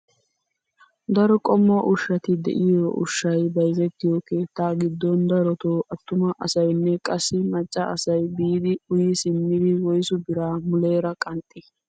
Daro qommo ushshaati de'iyoo ushshsay bayzettiyoo keettaa giddon darotoo attuma asaynne qassi macca asay biidi uyi simmidi woyssu biraa muleera qanxxii?